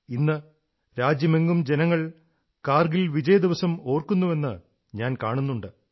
ഇന്ന് രാജ്യമെങ്ങും ജനങ്ങൾ കാർഗിൽ വിജയദിസം ഓർക്കുന്നുവെന്ന് ഞാൻ കാണുന്നുണ്ട്